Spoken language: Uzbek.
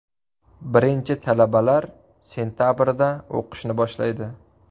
Birinchi talabalar sentabrda o‘qishni boshlaydi.